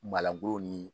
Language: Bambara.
ni